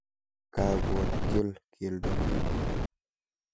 Kakotyol keldong'ung'.